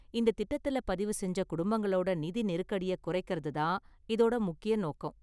இந்த திட்டத்துல பதிவு செஞ்ச குடும்பங்களோட நிதி நெருக்கடியைக் குறைக்கறது தான் இதோட முக்கிய நோக்கம்.